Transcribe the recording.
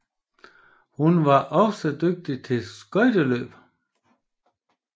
Hun var også dygtig til skøjteløb